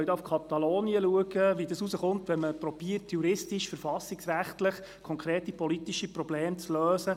In Katalonien können wir sehen, was geschehen kann, wenn man versucht, juristisch verfassungsrechtlich konkrete politische Probleme zu lösen: